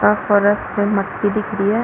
का फरस पे मट्टी दिख रही है।